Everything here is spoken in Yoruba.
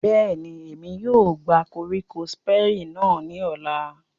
Bẹ́ẹ̀ni, Emi yóò gba koriko Siperi náa ni ọla.